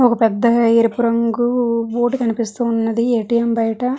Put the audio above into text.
ఒక పెద్ద ఎరుపు రంగు బోర్డు కనిపిస్తున్నది ఏ_టి_ఎం బయట.